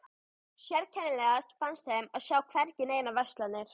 Sérkennilegast fannst þeim að sjá hvergi neinar verslanir.